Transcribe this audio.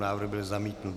Návrh byl zamítnut.